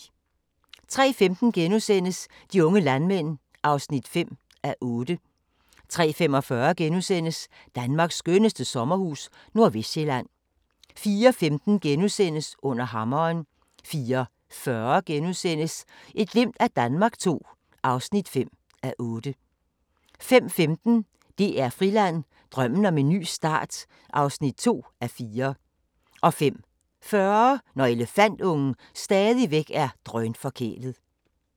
03:15: De unge landmænd (5:8)* 03:45: Danmarks skønneste sommerhus – Nordvestsjælland * 04:15: Under hammeren * 04:40: Et glimt af Danmark II (5:8)* 05:15: DR Friland: Drømmen om en ny start (2:4) 05:40: Når elefantungen stadigvæk er drønforkælet